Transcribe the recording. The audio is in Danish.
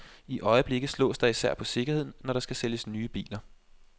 I øjeblikket slås der især på sikkerheden, når der skal sælges nye biler.